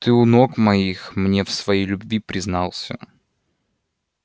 ты у ног моих мне в своей любви признался